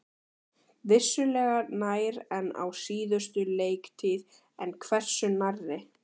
Vissulega nær en á síðustu leiktíð, en hversu nærri?